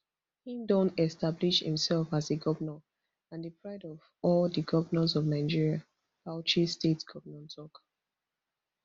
im don establish imsef as a govnor and di pride of all di govnors of nigeria bauchi state govnor tok